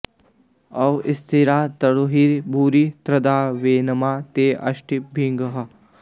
अव॑ स्थि॒रा त॑नुहि॒ भूरि॒ शर्ध॑तां व॒नेमा॑ ते अ॒भिष्टि॑भिः